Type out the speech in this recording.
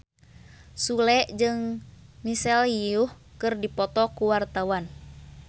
Sule jeung Michelle Yeoh keur dipoto ku wartawan